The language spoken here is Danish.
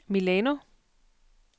Milano